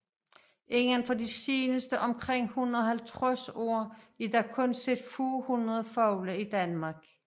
Indenfor de seneste omkring 150 år er der kun set få hundrede fugle i Danmark